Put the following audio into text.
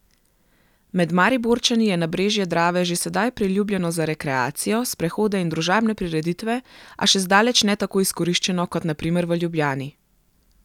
Med Mariborčani je nabrežje Drave že sedaj priljubljeno za rekreacijo, sprehode in družabne prireditve, a še zdaleč ne tako izkoriščeno kot na primer v Ljubljani.